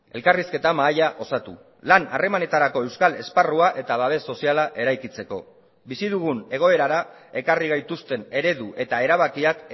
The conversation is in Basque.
elkarrizketa mahaia osatu lan harremanetarako euskal esparrua eta babes soziala eraikitzeko bizi dugun egoerara ekarri gaituzten eredu eta erabakiak